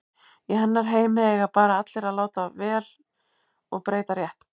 Í hennar heimi eiga bara allir að láta vel og breyta rétt.